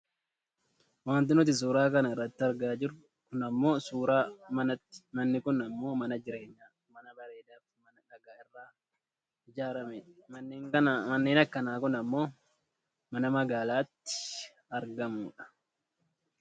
Wanti nuti suuraa kana irratti argaa jirru kun ammoo suuraa manaati. Manni kun ammoo mana jireenyaa; mana bareedaa fi mana dhagaa irraa ijaarramedha. Manneen akkana kun ammoo mana magaalaatti argamu dha.